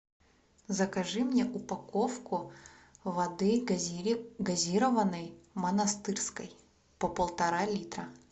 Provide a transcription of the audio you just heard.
закажи мне упаковку воды газированной монастырской по полтора литра